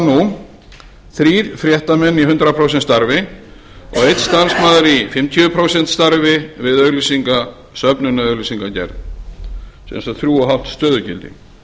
nú þrír fréttamenn í hundrað prósent starfi og einn starfsmaður í fimmtíu prósent starfi við auglýsingasöfnun eða auglýsingagerð sem sagt þrjú og hálft stöðugildi